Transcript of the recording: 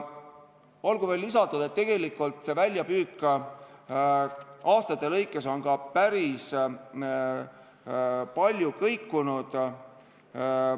Olgu veel lisatud, et tegelikult on väljapüük aastate jooksul ka päris palju kõikunud.